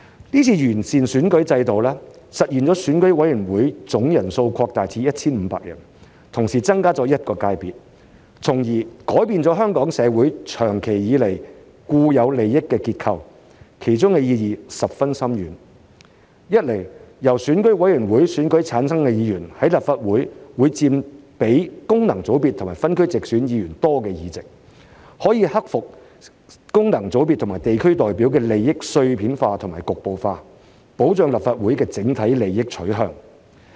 這次完善選舉制度，實現選委會總人數擴大至 1,500 人，同時增加一個界別，從而改變香港社會長期以來的固有利益結構，其中的意義十分深遠：一，由選委會界別經選舉產生的議員，在立法會所佔的議席會多於功能界別議員和分區直選議員的議席，可以克服功能界別和地區代表的利益碎片化和局部化，保障立法會的整體利益取向。